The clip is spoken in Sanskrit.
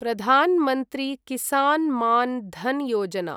प्रधान् मन्त्री किसान् मान् धन् योजना